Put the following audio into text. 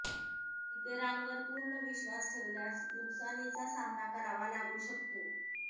इतरांवर पूर्ण विश्वास ठेवल्यास नुकसानीचा सामना करावा लागू शकतो